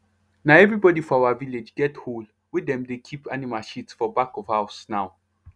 na everybody for our village get hole wey dem dey keep animal shit for back of house now